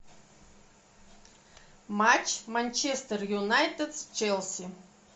матч манчестер юнайтед с челси